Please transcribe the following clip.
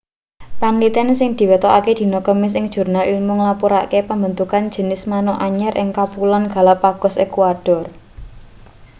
panliten sing diwetokake dina kamis ing jurnal ilmu nglapurake pambentukan jinis manuk anyar ing kapuloan galapagos ekuador